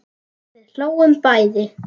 Við hlógum bæði.